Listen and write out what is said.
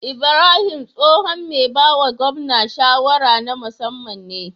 Ibrahim tsohon me bawa gwamna shawara na musaman ne